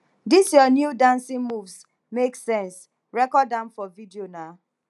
dis your new dancing moves make sense record am for video na